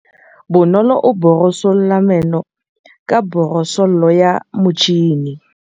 Bonolô o borosola meno ka borosolo ya motšhine.